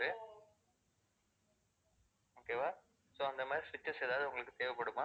okay வா, so அந்த மாதிரி switches ஏதாவது உங்களுக்கு தேவைப்படுமா?